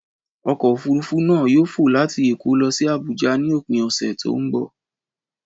Ọkọ̀ òfurufú náà yóò fò láti Èkó lọ sí Abuja ní òpin ọ̀sẹ̀ tó ń bọ̀.